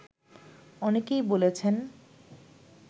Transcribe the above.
অনেকেই বলেছেন